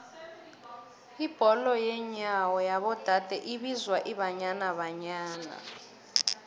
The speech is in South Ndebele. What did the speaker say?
ibholo yenyawo yabo dade ibizwa ibanyana banyana